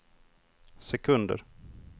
sekunder